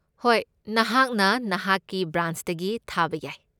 ꯍꯣꯏ, ꯅꯍꯥꯛꯅ ꯅꯍꯥꯛꯀꯤ ꯕ꯭ꯔꯥꯟꯆꯇꯒꯤ ꯊꯥꯕ ꯌꯥꯏ꯫